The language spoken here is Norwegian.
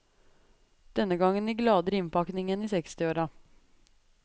Denne gangen i gladere innpakning enn i sekstiåra.